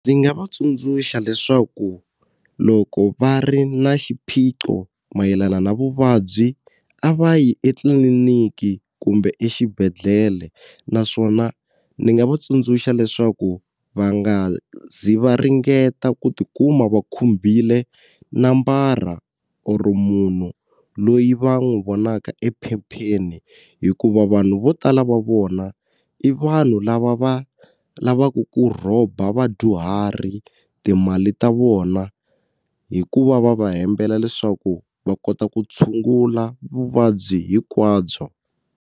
Ndzi nga va tsundzuxa leswaku loko va ri na xiphiqo mayelana na vuvabyi a va yi etliliniki kumbe exibedhlele naswona ndzi nga va tsundzuxa leswaku va nga zi va ringeta ku tikuma va khumbile nambara oro munhu loyi va n'wi vonaka ephepheni hikuva vanhu vo tala va vona i vanhu lava va lavaku ku rhoba vadyuhari timali ta vona hi ku va va va hembela leswaku va kota ku tshungula vuvabyi hinkwabyo.